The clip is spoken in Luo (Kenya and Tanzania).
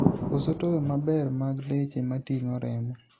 koso toyo maber mag leche mating'o remo